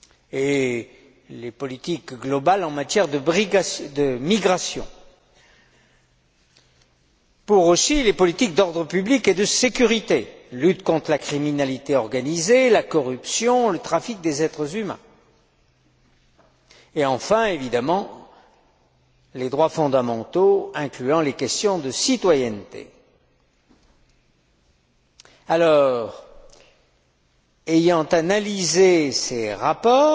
et les politiques globales en matière de migration, pour aussi les politiques d'ordre public et de sécurité lutte contre la criminalité organisée, la corruption, le trafic des êtres humains, et enfin, évidemment, les droits fondamentaux, incluant les questions de citoyenneté. Ayant analysé ces rapports,